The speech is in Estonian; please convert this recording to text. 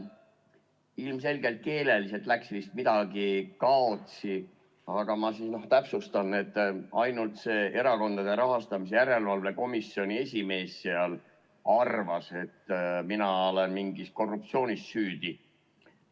Ilmselgelt keeleliselt läks vist midagi kaotsi, aga ma täpsustan: ainult erakondade rahastamise järelevalve komisjoni esimees seal arvas, et mina olen mingis korruptsioonis süüdi.